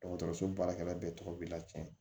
Dɔgɔtɔrɔso baarakɛla bɛɛ tɔgɔ bi lacɛn